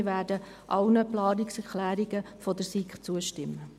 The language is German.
Wir werden allen Planungserklärungen der SiK zustimmen.